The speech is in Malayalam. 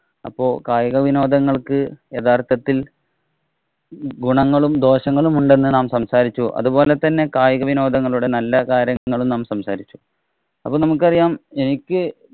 അപ്പോള്‍ കായിക വിനോദങ്ങള്‍ക്ക് യഥാര്‍ത്ഥത്തില്‍ ഗുണങ്ങളും, ദോഷങ്ങളും ഉണ്ടെന്നു നാം സംസാരിച്ചു. അതുപോലെ തന്നെ കായിക വിനോദങ്ങളുടെ നല്ല കാര്യങ്ങളും നാം സംസാരിച്ചു. അപ്പം നമുക്കറിയാം എനിക്ക്